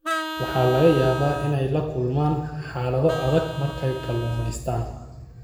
Waxaa laga yaabaa inay la kulmaan xaalado adag marka ay kalluumaystaan.